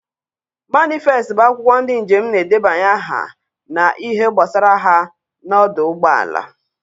Manịfest bụ akwụkwọ ndị njem na-edebanye aha na ihe gbasara ha na ọdụ ụgbọala.